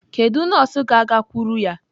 Kedu nọọsụ ga-agakwuru ya?